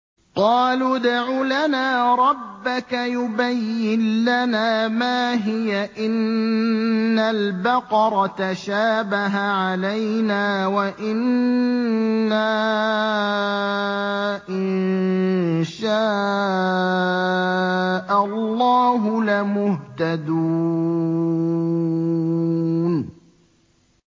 قَالُوا ادْعُ لَنَا رَبَّكَ يُبَيِّن لَّنَا مَا هِيَ إِنَّ الْبَقَرَ تَشَابَهَ عَلَيْنَا وَإِنَّا إِن شَاءَ اللَّهُ لَمُهْتَدُونَ